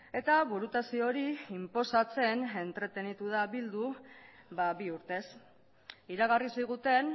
eta burutazio hori inposatzen entretenitu da bildu bi urtez iragarri ziguten